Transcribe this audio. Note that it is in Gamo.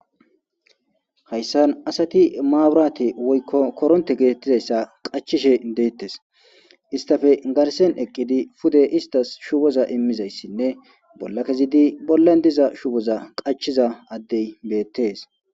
hayssan asati maaburate woykko koronte geetettizayssa qachishe deettes istafe garsen eqqidi pude istas shuboza immizayssinne bolla kezidi bollan diza shuboza qachiza addey beettees